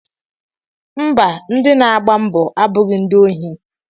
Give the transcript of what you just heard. Mba, ndị na-agba mbọ abụghị ndị ohi